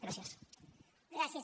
gràcies